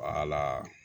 Wala